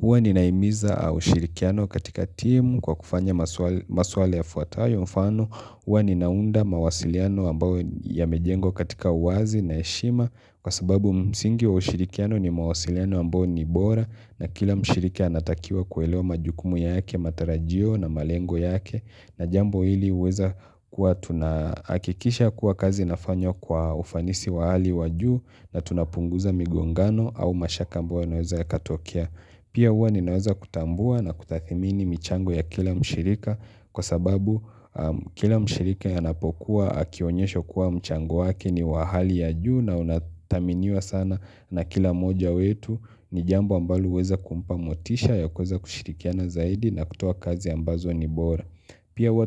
Huwa ninaimiza au shirikiano katika timu kwa kufanya maswala yafuatayo mfano. Hjwa ninaunda mawasiliano ambayo yamejengwa katika uwazi na heshima kwa sababu msingi wa ushirikiano ni mawasiliano ambao ni bora na kila mshiriki anatakiwa kuelewa majukumu yake, matarajio na malengo yake. Na jambo hili huweza kuwa tunahakikisha kuwa kazi inafanywa kwa ufanisi wa hali wa juu na tunapunguza migongano au mashaka ambayo yanaweza yakatokea. Pia huwa ninaweza kutambua na kutathimini mchango ya kila mshirika kwa sababu kila mshiriki yanapokuwa akionyeshwa kuwa mchango wake ni wa hali ya juu na unathaminiwa sana na kila mmoja wetu ni jambo ambalo huweza kumpa motisha ya kuweza kushirikiana zaidi na kutoa kazi ambazo ni bora. Pia huwa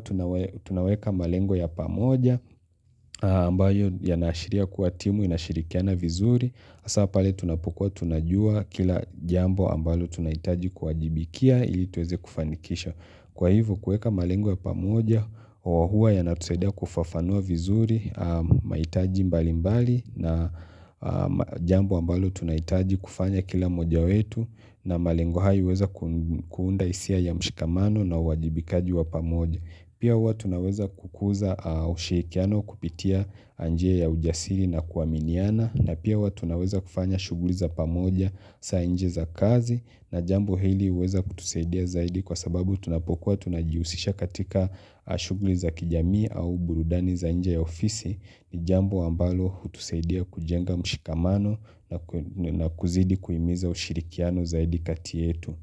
tunaweka malengo ya pamoja ambayo yanaashiria kuwa timu inashirikiana vizuri hasaa pale tunapokuwa tunajua kila jambo ambalo tunahitaji kuwajibikia ili tuweze kufanikisha Kwa ivo kuweka malengo ya pamoja wa huwa yanatusadia kufafanua vizuri mahitaji mbali mbali na jambo ambalo tunahitaji kufanya kila moja wetu na malengo hayo iweza kuunda hisia ya mshikamano na uwajibikaji wa pamoja pia huwa tunaweza kukuza ushirikiano kupitia njia ya ujasiri na kuaminiana na pia huwa tunaweza kufanya shughuli za pamoja sa nje za kazi na jambo hili huweza kutusaidia zaidi kwa sababu tunapokuwa tunajihusisha katika shughuli za kijamii au burudani za nje ya ofisi ni jambo ambalo hutusaidia kujenga mshikamano na kuzidi kuhimiza ushirikiano zaidi kati yetu.